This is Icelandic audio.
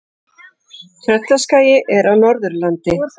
Tröllaskagi er á Norðurlandi.